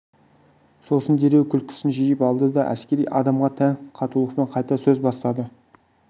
сосын дереу күлкісін жиып алды да әскери адамға тән қатулықпен қайта сөз бастады